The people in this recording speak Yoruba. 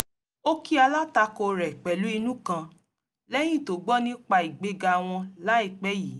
ó kí alátakò rẹ̀ pẹ̀lú inú kan lẹ́yìn tó gbọ́ nípa ìgbéga wọn láìpẹ́ yìí